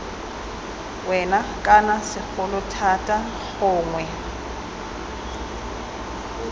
wena kana segolo thata gongwe